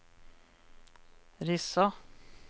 Rissa